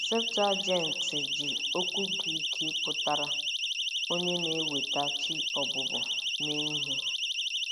Septụaginti ji okwu Grik pụtara “onye na-eweta chi ọbụbọ” mee ihe.